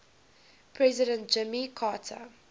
president jimmy carter